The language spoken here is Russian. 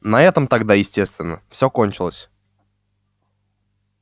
на этом тогда естественно всё кончилось